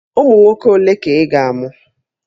Ụmụ nwoke ole ka ị ga-amụ?